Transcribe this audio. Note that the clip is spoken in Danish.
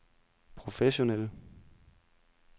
professionelle